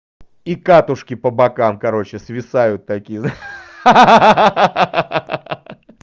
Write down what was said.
и катушки по бокам короче свисают такие ха-ха-ха